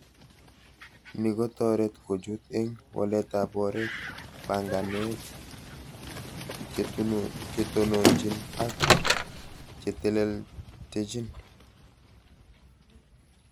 Ni kotoret kochut eng waletab oret banganet, chetunuchni ak chetelechni